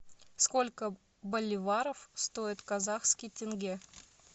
сколько боливаров стоит казахский тенге